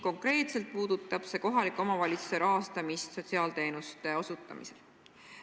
Konkreetselt puudutab see kohaliku omavalitsuse rahastamist sotsiaalteenuste osutamiseks.